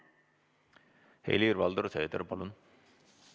Helir-Valdor Seeder, palun!